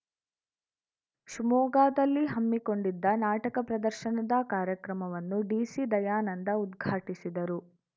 ಶಿವಮೊಗ್ಗದಲ್ಲಿ ಹಮ್ಮಿಕೊಂಡಿದ್ದ ನಾಟಕ ಪ್ರದರ್ಶನದ ಕಾರ್ಯಕ್ರಮವನ್ನು ಡಿಸಿ ದಯಾನಂದ ಉದ್ಘಾಟಿಸಿದರು